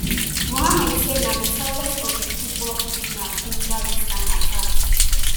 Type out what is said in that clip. muhammad say na di success of di chibok kidnap ginger dis kain attacks